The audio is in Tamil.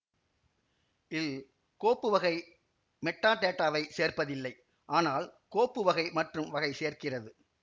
ல் கோப்பு வகை மெட்டாடேட்டாவை சேர்ப்பதில்லை ஆனால் கோப்பு வகை மற்றும் வகை சேர்க்கிறது